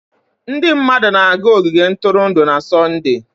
Ndị mmadụ na-aga ogige ntụrụndụ na Sọnde.